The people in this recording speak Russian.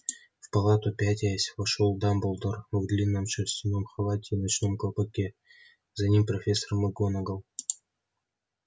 в палату пятясь вошёл дамблдор в длинном шерстяном халате и в ночном колпаке за ним профессор макгонагалл